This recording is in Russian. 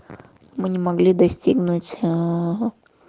мы не могли достигнуть аа